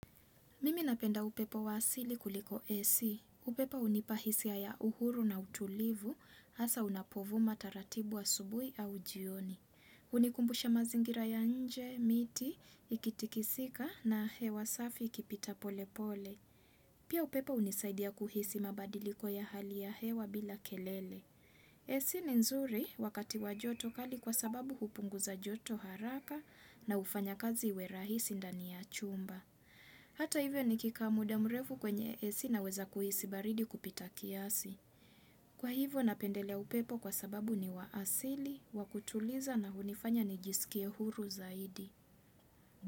Mimi ninapenda upepo wasili kuliko ac. Upepo unipahisia ya uhuru na utulivu, hasa unapovu mataratibu asubuhi au jioni. Unikumbusha mazingira ya nje, miti, ikitikisika na hewa safi ikipita pole pole. Pia upepo unisaidia kuhisi mabadiliko ya hali ya hewa bila kelele. AC ni nzuri wakati wa joto kali kwa sababu hupunguza joto haraka na hufanya kazi iwerahisi ndani ya chumba. Hata hivyo ni kikaamuda mrefu kwenye ac ninaweza kuhisi baridi kupita kiasi. Kwa hivyo napendelea upepo kwa sababu ni waasili, wakutuliza na hunifanya ni jisikie huru zaidi.